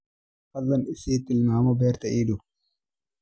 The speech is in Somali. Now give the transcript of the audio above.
fadlan i sii tilmaamo beerta ii dhow